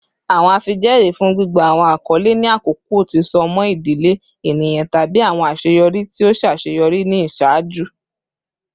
Awọn afijẹẹri fun gbigba awọn akọle ni akọkọ ti so mọ idile eniyan tabi awọn aṣeyọri ti o ṣaṣeyọri ni iṣaaju.